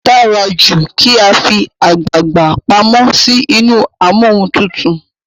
o dára jù kí a fí àgbagbà pàmò sí inú Amóhuntutù.